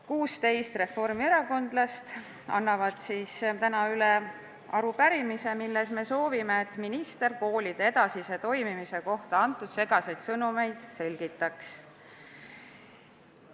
16 reformierakondlast annavad täna üle arupärimise, milles me soovime, et minister koolide edasise toimimise kohta antud segaseid sõnumeid selgitaks.